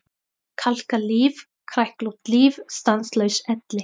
Kalkað líf, kræklótt líf, stanslaus elli.